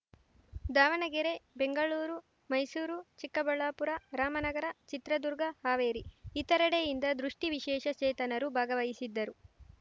ದಾವಣಗೆರೆ ಬೆಂಗಳೂರು ಮೈಸೂರು ಚಿಕ್ಕಬಳ್ಳಾಪುರ ರಾಮನಗರ ಚಿತ್ರದುರ್ಗ ಹಾವೇರಿ ಇತರೆಡೆಯಿಂದ ದೃಷ್ಟಿವಿಶೇಷ ಚೇತನರು ಭಾಗವಹಿಸಿದ್ದರು